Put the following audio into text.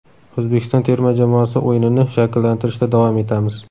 O‘zbekiston terma jamoasi o‘yinini shakllantirishda davom etamiz.